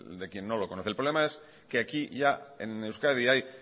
de quien no lo conoce el problema es que aquí ya en euskadi hay